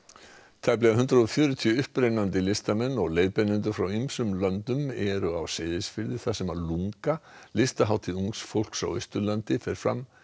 tæplega hundrað og fjörutíu upprennandi listamenn og leiðbeinendur frá ýmsum löndum eru samankomnir á Seyðisfirði þar sem LungA listahátíð ungs fólks á Austurlandi fer fram